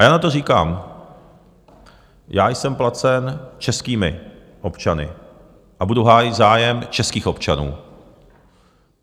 A já na to říkám, já jsem placen českými občany a budu hájit zájem českých občanů.